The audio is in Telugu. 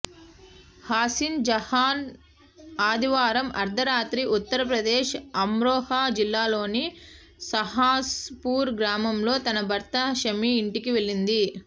హసీన్ జహాన్ ఆదివారం అర్థరాత్రి ఉత్తరప్రదేశ్ అమ్రోహా జిల్లాలోని సహస్ పూర్ గ్రామంలో తన భర్త షమీ ఇంటికి వెళ్లింది